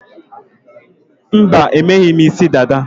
Mba, emeghị m isi dada